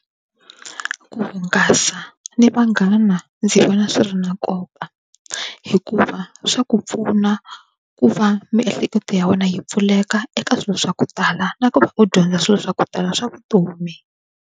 Ku hungasa ni vanghana ndzi vona swi ri na nkoka hikuva swa ku pfuna ku va miehleketo ya wena yi pfuleka eka swilo swa ku tala na ku va u dyondza swilo swa ku tala swa vutomi.